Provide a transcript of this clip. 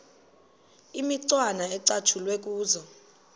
imicwana ecatshulwe kuzo